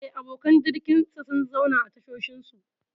Eh, abokan jirginsa sun zauna a tashoshinsu.